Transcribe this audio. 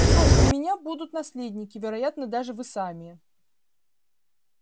что ж у меня будут наследники вероятно даже вы сами